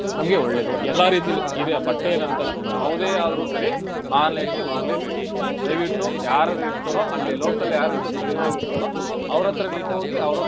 ನಮ್ಗೆ ಒಳ್ಳೇದು ಎಲ್ಲ ರೀತಿಯಲ್ಲೂ ಈಗ ಬಟ್ಟೆ ಏನಂತಲ್ಲ ಯಾವದೆ ಆದ್ರೂ ಸರಿ online ಗೆ ಹೋಗಲೇ ಬೇಡಿ ದಯವಿಟ್ಟು ಯಾರರ್ರಿತಿರೋ ಅಲ್ಲೇ local ಯಾರರ್ರಿತಿರೋ ಸ್ಥಳೀಯವಾಗಿ ಇರ್ತೀರೋ ಅವ್ರತರನೇ ಹೋಗಿ ಅವ್ರತರನೆ.